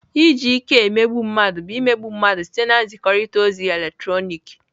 Iji ike emegbu mmadụ bụ imegbu mmadụ site na nzikọrịta ozi eletrọnịkị.